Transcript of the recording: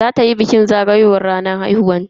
Za tayi bikin zagayowar ranar haihuwanta anjima.